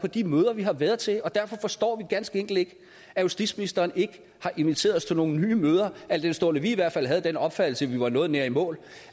på de møder vi har været til og derfor forstår vi ganske enkelt ikke at justitsministeren ikke har inviteret os til nogle nye møder al den stund vi i hvert fald havde den opfattelse at vi var noget nær i mål